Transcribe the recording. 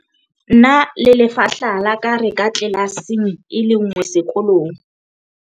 nna le lefahla la ka re ka tlelaseng e le nngwe sekolong